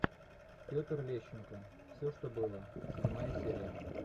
петр лещенко все что было седьмая серия